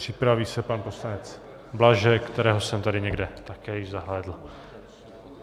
Připraví se pan poslanec Blažek, kterého jsem tady někde také již zahlédl.